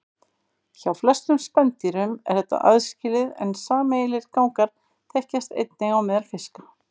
Hjá flestum spendýrum er þetta aðskilið en sameiginlegir gangar þekkjast einnig á meðal fiska.